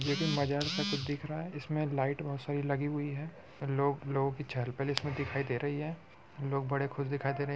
यह एक मजार जैसा कुछ दिख रहा है इसमें लाइट बहुत सारी लगी हुई है लोग लोग की चहल पहल इसमें दिखाई दे रही है लोग बड़े खुश दिखाई दे रहे हैं ।--